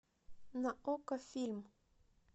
на окко фильм